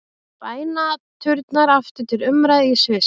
Bænaturnar aftur til umræðu í Sviss